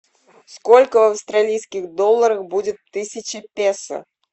сколько в австралийских долларах будет тысяча песо